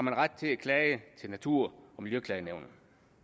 har ret til at klage til natur og miljøklagenævnet